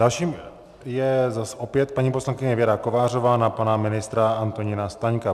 Další je opět paní poslankyně Věra Kovářová na pana ministra Antonína Staňka.